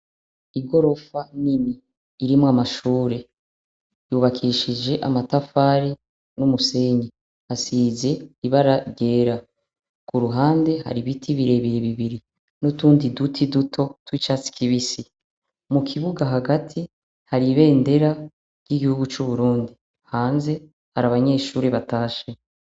Igorofa nini irimwo amashure yubakishije amatafari n'umusenyi hasize ibara ryera ku ruhande hari ibiti birebe iye bibiri n'utundi duti duto tucatsi kibisi mu kibuga hagati haribendera ry'igihugu c'uburundi hanze ari abanyeshuri batashe.